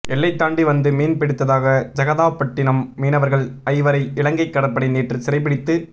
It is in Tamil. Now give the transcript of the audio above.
எல்லை தாண்டி வந்து மீன் பிடித்ததாக ஜெகதாப்பட்டினம் மீனவர்கள் ஐவரை இலங்கை கடற்படை நேற்று சிறைப்பிடித்து